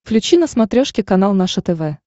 включи на смотрешке канал наше тв